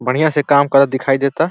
बढ़ियां से काम करर् दिखाई देता।